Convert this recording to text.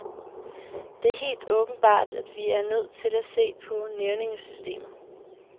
Det er helt åbenbart, at vi er nødt til at se på nævningesystemet.